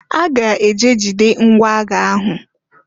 I ga-eje jide ngwa agha ahụ!